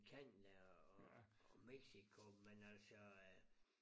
Canada og og Mexico men altså